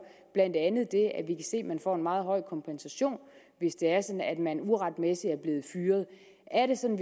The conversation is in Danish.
blandt andet det at vi se at man får en meget høj kompensation hvis det er sådan at man uretmæssigt er det sådan